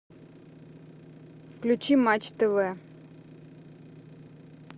включи матч тв